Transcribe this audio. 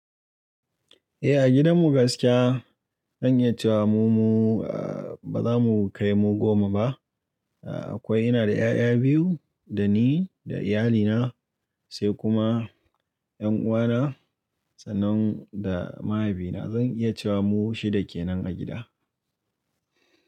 Eh a gidan mu gaskiya zan iya cewa mu ba za mu kai mu goma ba. Akwai ina da 'ya'ya biyu da ni da iyalina, sai kuma 'yan uwana sannan da mahaifina. Zan iya cewa mu shida kenan a gida.